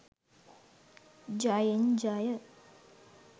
ජයෙන් ජය!